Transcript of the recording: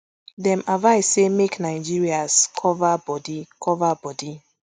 dem advise say make nigerias cover bodi cover bodi